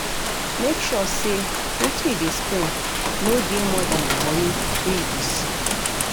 make sure sey wetin you dey spend no dey more than di money wey you dey see